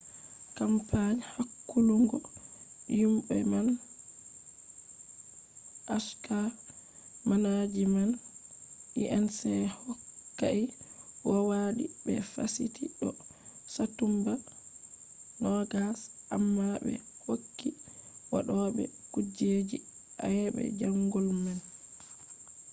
kampani hakkulungo yimobe man hk manajiment inc. hokkai kowadi be fasiti do satumba 20 amma be hokki waddobe kujeji ayebe jango man